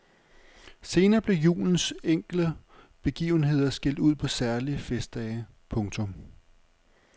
Senere blev julens enkelte begivenheder skilt ud på særlige festdage. punktum